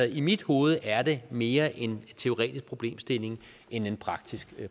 i mit hoved er det mere en teoretisk problemstilling end en praktisk